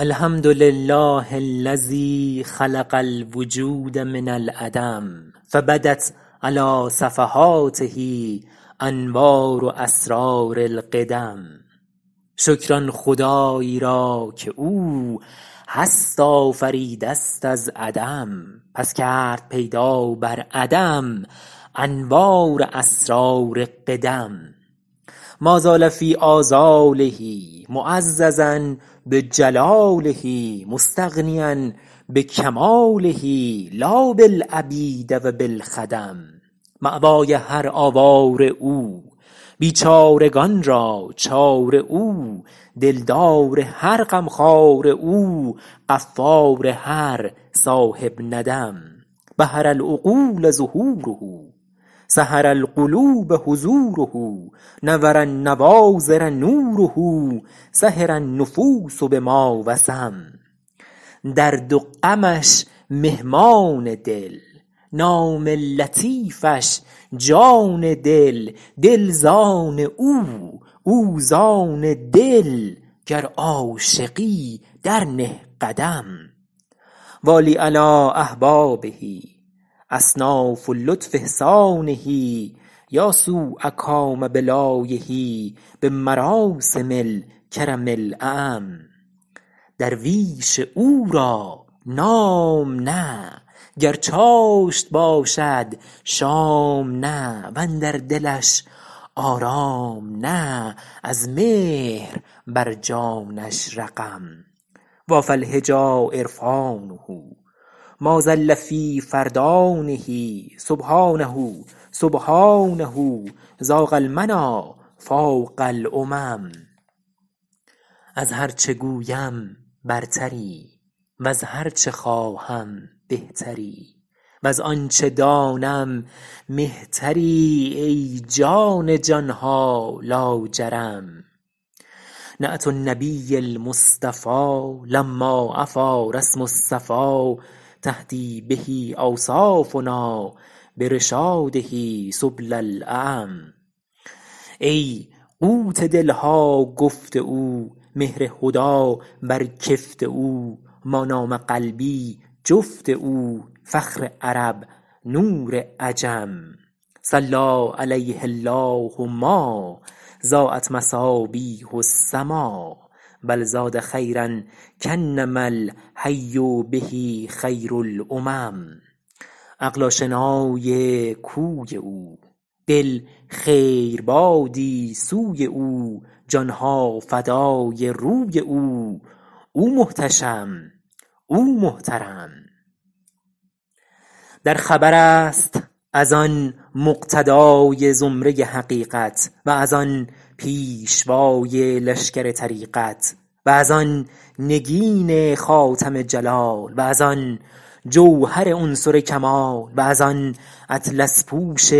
الحمدلله الذی خلق الوجود من العدم فبدت علی صفحاته انوار اسرار القدم شکر آن خدایی را که او هست آفریده ست از عدم پس کرد پیدا بر عدم انوار اسرار قدم ما زال فی آزاله معززا بجلاله مستغنیا بکماله لا بالعبید و بالخدم مأوای هر آواره او بیچارگان را چاره او دلدار هر غمخواره او غفار هر صاحب ندم بهر العقول ظهوره سحر القلوب حضوره نور النواظر نوره سهر النفوس بما وسم درد و غمش مهمان دل نام لطیفش جان دل دل زان او او زان دل گر عاشقی در نه قدم والی علی احبابه اصناف لطف احسانه یا سوء کام بلایه بمراسم الکرم الاعم درویش او را نام نه گر چاشت باشد شام نه وندر دلش آرام نه از مهر بر جانش رقم وافی الحجی عرفانه ما ضل فی فردانه سبحانه سبحانه ضاق المنی فاق الامم از هر چه گویم برتری وز هر چه خواهم بهتری وز آنچه دانم مهتری ای جان جانها لاجرم نعت النبی المصطفی لما عفی رسم الصفا تهدی به اوصافنا برشاده سبل الاعم ای قوت دلها گفت او مهر هدی بر کفت او ما نام قلبی جفت او فخر عرب نور عجم صلی علیه الله ما ضایت مصابیح السما بل زاد خیرا کانما الحی به خیر الامم عقل آشنای کوی او دل خیربادی سوی او جانها فدای روی او او محتشم او محترم در خبر است از آن مقتدای زمره حقیقت و از آن پیشوای لشکر طریقت و از آن نگین خاتم جلال و از آن جوهر عنصر کمال و از آن اطلس پوش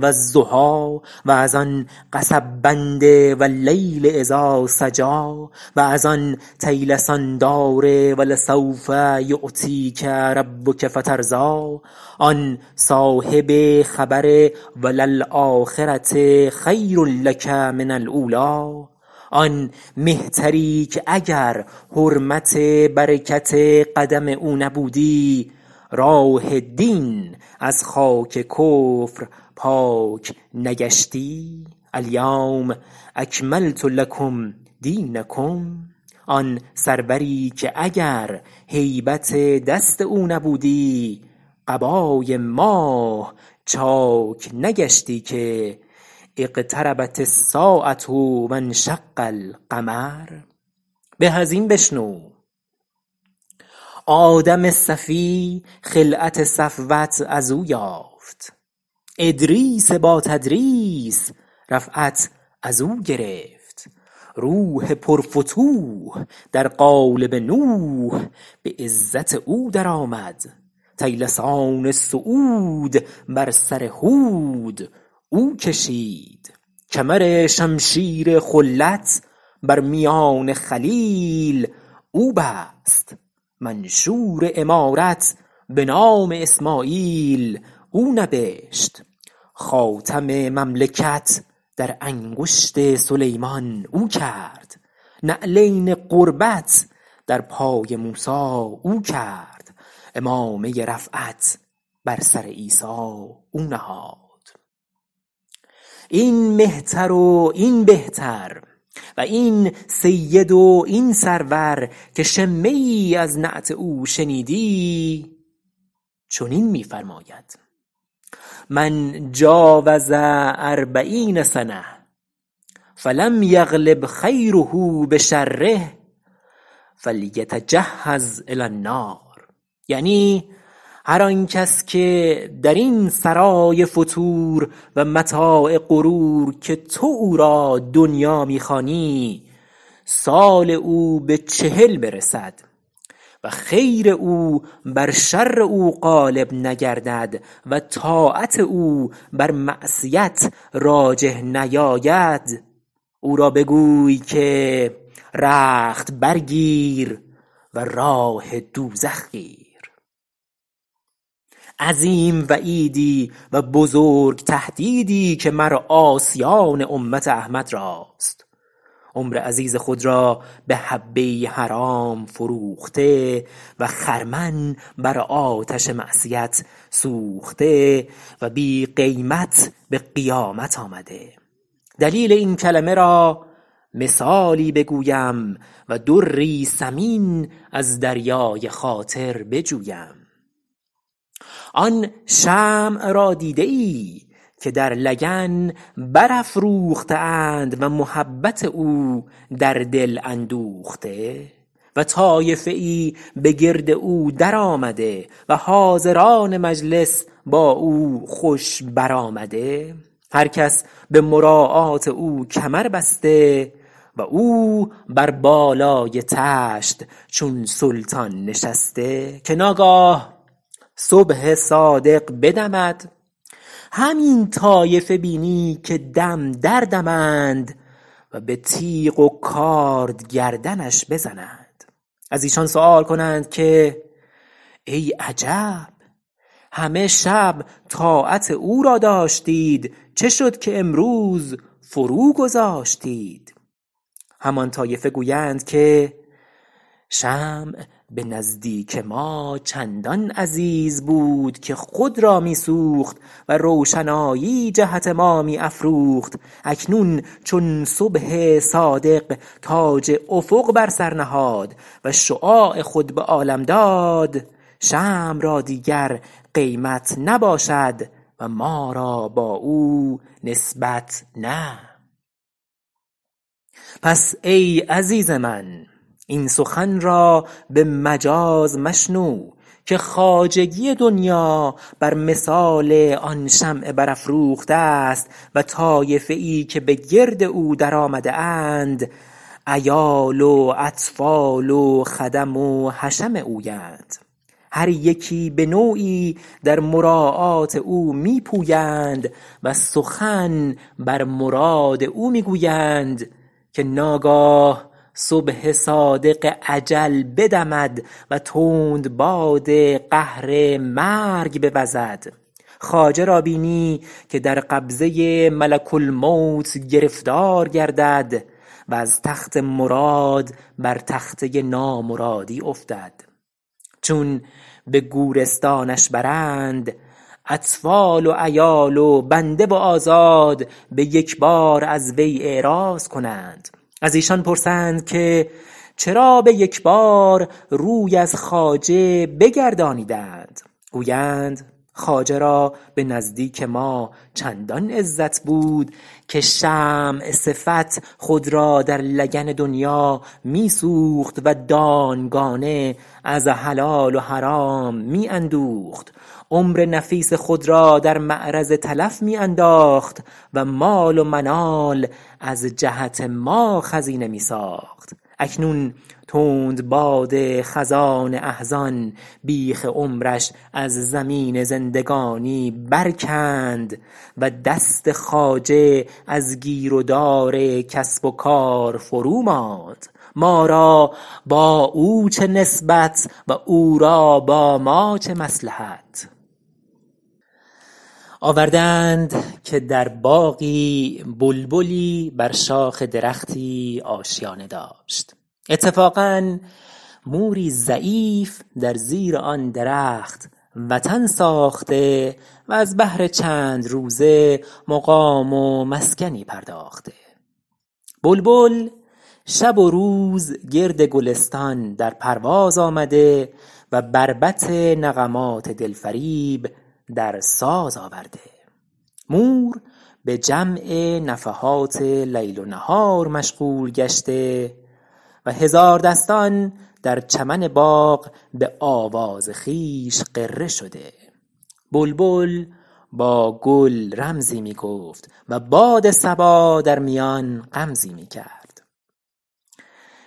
والضحی و از آن قصب بند واللیل اذا سجی و از آن طیلسان دار ولسوف یعطیک ربک فترضی آن صاحب خبر و للاخرة خیر لک من الاولی آن مهتری که اگر حرمت برکت قدم او نبودی راه دین از خاک کفر پاک نگشتی الیوم اکملت لکم دینکم آن سروری که اگر هیبت دست او نبودی قبای ماه چاک نگشتی که اقتربت الساعة و انشق القمر به از این بشنو آدم صفی خلعت صفوت از او یافت ادریس با تدریس رفعت از او گرفت روح پر فتوح در قالب نوح به عزت او درآمد طیلسان صعود بر سر هود او کشید کمر شمشیر خلت بر میان خلیل او بست منشور امارت به نام اسماعیل او نبشت خاتم مملکت در انگشت سلیمان او کرد نعلین قربت در پای موسی او کرد عمامه رفعت بر سر عیسی او نهاد این مهتر و این بهتر و این سید و این سرور که شمه ای از نعت او شنیدی چنین می فرماید من جاوز اربعین سنة فلم یغلب خیره بشره فلیتجهز الی النار یعنی هر آن کس که در این سرای فتور و متاع غرور که تو او را دنیا می خوانی سال او به چهل برسد و خیر او بر شر او غالب نگردد و طاعت او بر معصیت راجح نیاید او را بگوی که رخت برگیر و راه دوزخ گیر عظیم وعیدی و بزرگ تهدیدی که مر عاصیان امت احمد راست عمر عزیز خود را به حبه ای حرام فروخته و خرمن بر آتش معصیت سوخته و بی قیمت به قیامت آمده دلیل این کلمه را مثالی بگویم و دری ثمین از دریای خاطر بجویم آن شمع را دیده ای که در لگن برافروخته اند و محبت او در دل اندوخته و طایفه ای به گرد او درآمده و حاضران مجلس با او خوش برآمده هر کس به مراعات او کمر بسته و او بر بالای طشت چون سلطان نشسته که ناگاه صبح صادق بدمد همین طایفه بینی که دم در دمند و به تیغ و کارد گردنش بزنند از ایشان سؤال کنند که ای عجب همه شب طاعت او را داشتید چه شد که امروز فرو گذاشتید همان طایفه گویند که شمع به نزدیک ما چندان عزیز بود که خود را می سوخت و روشنایی جهت ما می افروخت اکنون چون صبح صادق تاج افق بر سر نهاد و شعاع خود به عالم داد شمع را دیگر قیمت نباشد و ما را با او نسبت نه پس ای عزیز من این سخن را به مجاز مشنو که خواجگی دنیا بر مثال آن شمع برافروخته است و طایفه ای که به گرد او در آمده اند عیال و اطفال و خدم و حشم اویند هر یکی به نوعی در مراعات او می پویند و سخن بر مراد او می گویند که ناگاه صبح صادق اجل بدمد و تندباد قهر مرگ بوزد خواجه را بینی که در قبضه ملک الموت گرفتار گردد و از تخت مراد بر تخته نامرادی افتد چون به گورستانش برند اطفال و عیال و بنده و آزاد به یکبار از وی اعراض کنند از ایشان پرسند که چرا به یکبار روی از خواجه بگردانیدند گویند خواجه را به نزدیک ما چندان عزت بود که شمع صفت خود را در لگن دنیا می سوخت و دانگانه از حلال و حرام می اندوخت عمر نفیس خود را در معرض تلف می انداخت و مال و منال از جهت ما خزینه می ساخت اکنون تندباد خزان احزان بیخ عمرش از زمین زندگانی برکند و دست خواجه از گیر و دار کسب و کار فروماند ما را با او چه نسبت و او را با ما چه مصلحت آورده اند که در باغی بلبلی بر شاخ درختی آشیانه داشت اتفاقا موری ضعیف در زیر آن درخت وطن ساخته و از بهر چند روزه مقام و مسکنی پرداخته بلبل شب و روز گرد گلستان در پرواز آمده و بربط نغمات دلفریب در ساز آورده مور به جمع نفحات لیل و نهار مشغول گشته و هزاردستان در چمن باغ به آواز خویش غره شده بلبل با گل رمزی می گفت و باد صبا در میان غمزی می کرد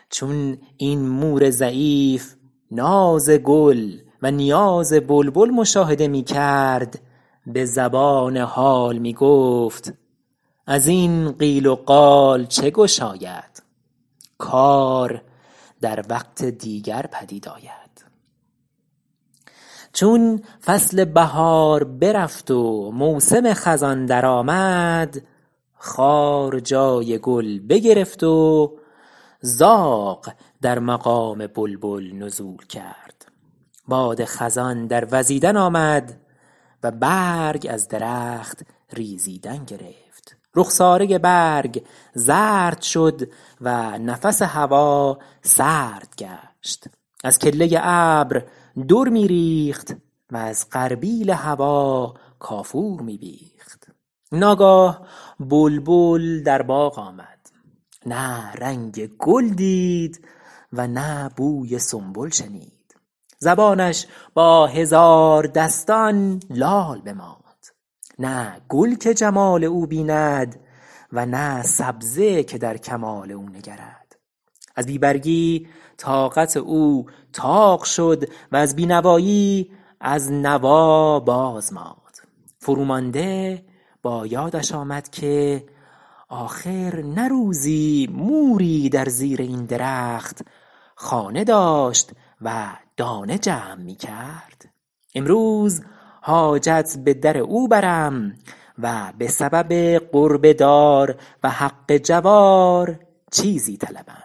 چون این مور ضعیف ناز گل و نیاز بلبل مشاهده می کرد به زبان حال می گفت از این قیل و قال چه گشاید کار در وقت دیگر پدید آید چون فصل بهار برفت و موسم خزان درآمد خار جای گل بگرفت و زاغ در مقام بلبل نزول کرد باد خزان در وزیدن آمد و برگ از درخت ریزیدن گرفت رخساره برگ زرد شد و نفس هوا سرد گشت از کله ابر در می ریخت و از غربیل هوا کافور می بیخت ناگاه بلبل در باغ آمد نه رنگ گل دید و نه بوی سنبل شنید زبانش با هزاردستان لال بماند نه گل که جمال او بیند و نه سبزه که در کمال او نگرد از بی برگی طاقت او طاق شد و از بینوایی از نوا باز ماند فرو مانده با یادش آمد که آخر نه روزی موری در زیر این درخت خانه داشت و دانه جمع می کرد امروز حاجت به در او برم و به سبب قرب دار و حق جوار چیزی طلبم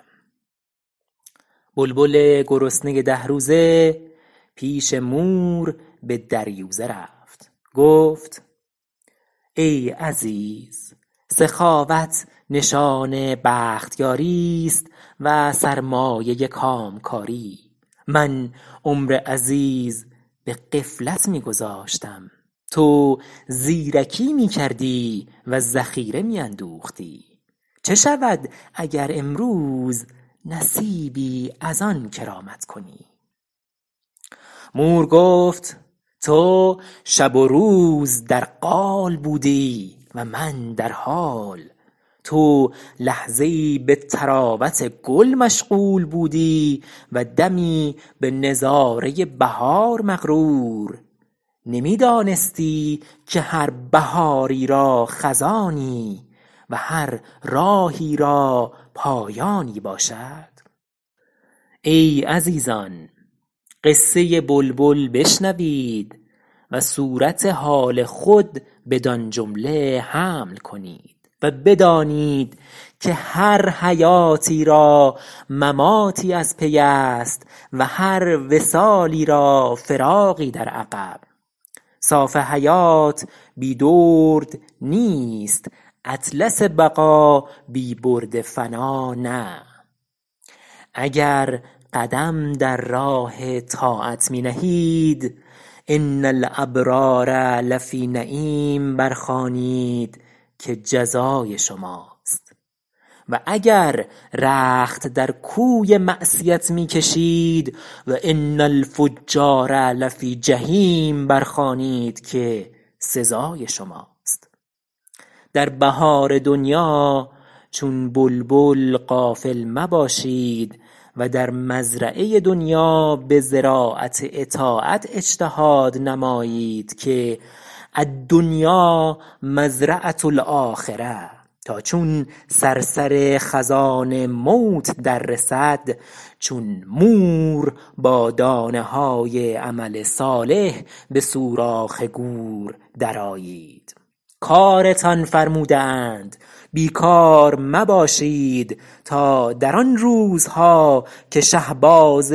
بلبل گرسنه ده روز پیش مور به دریوزه رفت گفت ای عزیز سخاوت نشان بختیاری است و سرمایه کامکاری من عمر عزیز به غفلت می گذاشتم تو زیرکی می کردی و ذخیره می اندوختی چه شود اگر امروز نصیبی از آن کرامت کنی مور گفت تو شب و روز در قال بودی و من در حال تو لحظه ای به طراوت گل مشغول بودی و دمی به نظاره بهار مغرور نمی دانستی که هر بهاری را خزانی و هر راهی را پایانی باشد ای عزیزان قصه بلبل بشنوید و صورت حال خود بدان جمله حمل کنید و بدانید که هر حیاتی را مماتی از پی است و هر وصالی را فراقی در عقب صاف حیات بی درد نیست اطلس بقا بی برد فنا نه اگر قدم در راه طاعت می نهید ان الابرار لفی نعیم برخوانید که جزای شماست و اگر رخت در کوی معصیت می کشید و ان الفجار لفی جحیم برخوانید که سزای شماست در بهار دنیا چون بلبل غافل مباشید و در مزرعه دنیا به زراعت اطاعت اجتهاد نمایید که الدنیا مزرعة الاخرة تا چون صرصر خزان موت در رسد چون مور با دانه های عمل صالح به سوراخ گور در آیید کارتان فرموده اند بی کار مباشید تا در آن روزها که شهباز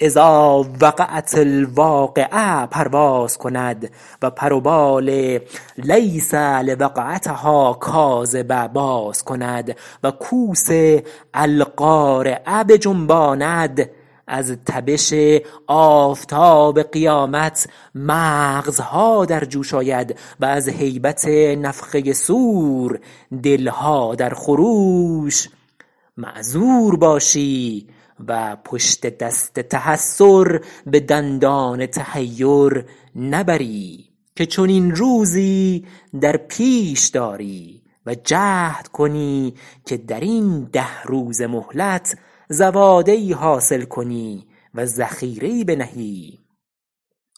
اذا وقعت الواقعة پرواز کند و پر و بال لیس لوقعتها کاذبة باز کند و کوس القارعه بجنباند از تبش آفتاب قیامت مغزها در جوش آید و از هیبت نفخه صور دلها در خروش معذور باشی و پشت دست تحسر به دندان تحیر نبری که چنین روزی در پیش داری و جهد کنی که در این ده روزه مهلت زواده ای حاصل کنی و ذخیره ای بنهی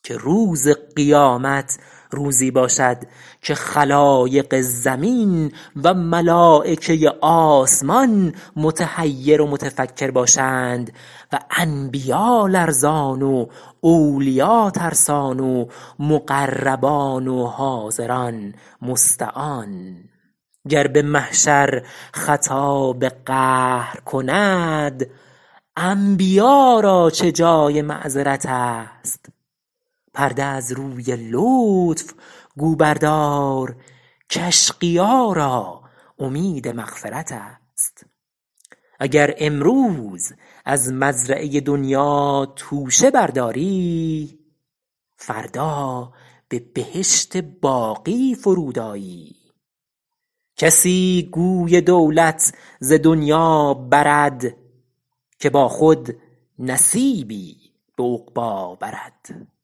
که روز قیامت روزی باشد که خلایق زمین و ملایکه آسمان متحیر و متفکر باشند و انبیا لرزان و اولیا ترسان و مقربان و حاضران مستعان گر به محشر خطاب قهر کند انبیا را چه جای معذرت است پرده از روی لطف گو بردار کاشقیا را امید مغفرت است اگر امروز از مزرعه دنیا توشه برداری فردا به بهشت باقی فرود آیی کسی گوی دولت ز دنیا برد که با خود نصیبی به عقبی برد